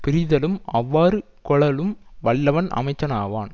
பிரித்தலும் அவ்வாறு கொளலும் வல்லவன் அமைச்சனாவான்